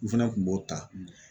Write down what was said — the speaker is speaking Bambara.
N fɛnɛ kun b'o ta